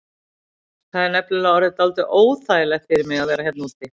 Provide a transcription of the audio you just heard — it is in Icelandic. Það er nefnilega orðið dálítið óþægilegt fyrir mig að vera hérna úti.